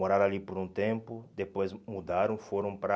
Moraram ali por um tempo, depois mudaram, foram para...